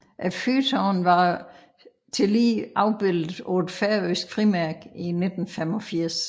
Fyrtårnet var tillige afbildet på et færøsk frimærke i 1985